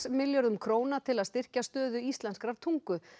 milljörðum króna til að styrkja stöðu íslenskrar tungu